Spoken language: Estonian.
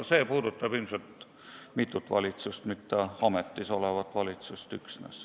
See puudutab mitut valitsust, mitte üksnes ametis olevat.